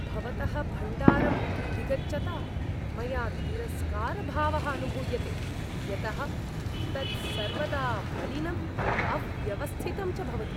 भवतः भण्डारम् अभिगच्छता मया तिरस्कारभावः अनुभूयते यतः तत् सर्वदा मलिनम्, अव्यवस्थितं च भवति।